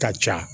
Ka ca